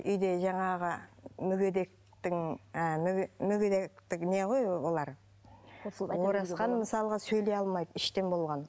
үйде жаңағы мүгедектің ы мүгедектік не ғой олар оразхан мысалға сөйлей алмайды іштен болған